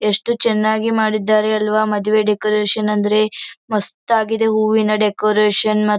ಎಷ್ಟು ಚನ್ನಾಗಿ ಮಾಡಿದ್ದಾರಲ್ಲವಾ ಮದುವೆ ಡೆಕೋರೇಷನ್ ಅಂದ್ರೆ ಮಸ್ತ ಆಗಿದೆ ಹೂವಿನ ಡೆಕೋರೇಷನ್ ಮ--